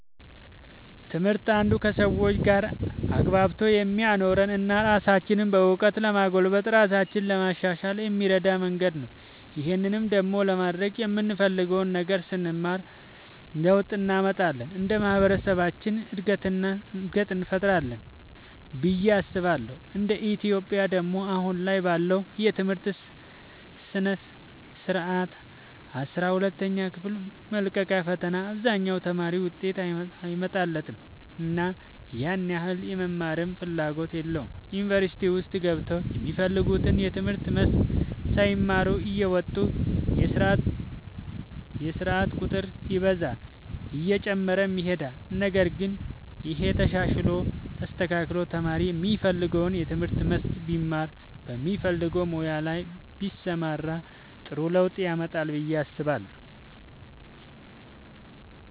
ትምህርት አንዱ ከሰዎች ጋር አግባብቶ የሚያኖረን እና ራሳችንንም በእውቀት ለማጎልበት ራሳችንን ለማሻሻል የሚረዳን መንገድ ነው። ይህን ደግሞ ለማድረግ የምንፈልገውን ነገር ስንማር ለውጥ እንመጣለን እንደ ማህበረሰብም እድገትን እንፈጥራለን ብዬ አስባለሁ እንደ ኢትዮጵያ ደግሞ አሁን ላይ ባለው የትምህርት ስርዓት አስራ ሁለተኛ ክፍል መልቀቂያ ፈተና አብዛኛው ተማሪ ውጤት አይመጣለትምና ያን ያህል የመማርም ፍላጎት የለውም ዩኒቨርሲቲ ውስጥ ገብተውም የሚፈልጉትን የትምህርት መስክ ሳይማሩ እየወጡ የስርዓት ቁጥር ይበዛል እየጨመረም ይሄዳል ነገር ግን ይሄ ተሻሽሎ ተስተካክሎ ተማሪ የሚፈልገውን የትምህርት መስክ ቢማር በሚፈልገው ሙያ ላይ ቢሰማራ ጥሩ ለውጥ ያመጣል ብዬ አስባለሁ።